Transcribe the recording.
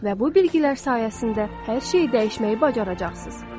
Və bu bilgilər sayəsində hər şeyi dəyişməyi bacaracaqsınız.